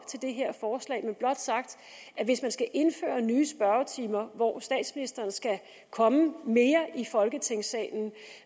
til det her forslag men blot sagt at hvis man skal indføre nye spørgetimer og statsministeren skal komme mere i folketingssalen